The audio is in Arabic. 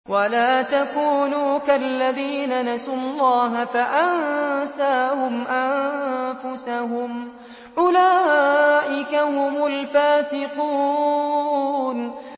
وَلَا تَكُونُوا كَالَّذِينَ نَسُوا اللَّهَ فَأَنسَاهُمْ أَنفُسَهُمْ ۚ أُولَٰئِكَ هُمُ الْفَاسِقُونَ